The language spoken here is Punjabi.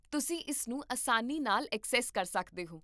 ਤੁਸੀਂ ਇਸ ਨੂੰ ਆਸਾਨੀ ਨਾਲ ਐਕਸੈਸ ਕਰ ਸਕਦੇ ਹੋ